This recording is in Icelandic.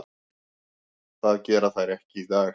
Það gera þær ekki í dag.